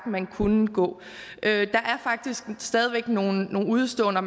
man kunne gå der er faktisk stadig væk nogle udeståender